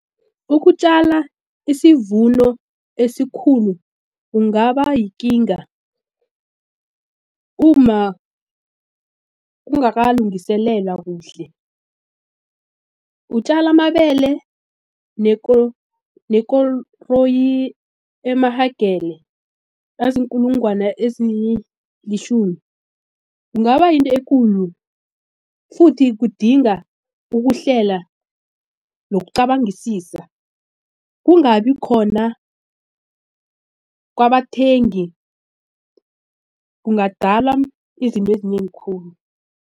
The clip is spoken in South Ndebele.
Ukutjala isivuno esikhulu kungaba yikinga uma ungakalungiselela kuhle. Utjala amabele nekoroyi emahagere aziinkulungwana ezilitjhumi. Kungaba yinto ekulu futhi kudinga ukuhlela nokucabangisisa kungabi khona kwabathengi kungadala izinto ezinengi khulu.